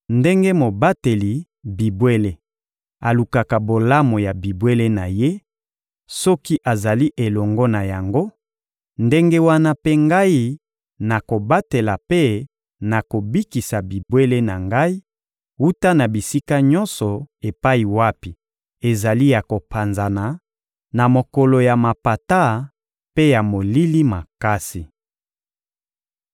Ndenge mobateli bibwele alukaka bolamu ya bibwele na ye, soki azali elongo na yango, ndenge wana mpe Ngai nakobatela mpe nakobikisa bibwele na Ngai wuta na bisika nyonso epai wapi ezali ya kopanzana, na mokolo ya mapata mpe ya molili makasi.